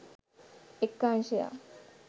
එක් අංශයක්